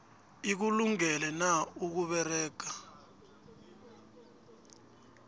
ikulungele na ukusebenza